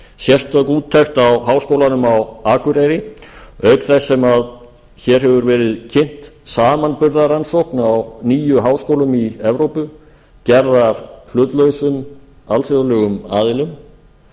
sérstök úttekt á háskólanum á akureyri auk þess sem hér hefur verið kynnt samanburðarrannsókn á níu háskólum í evrópu gerð af hlutlausum alþjóðlegum aðilum